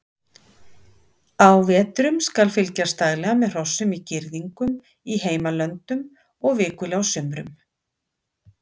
Á vetrum skal fylgjast daglega með hrossum í girðingum í heimalöndum og vikulega á sumrum.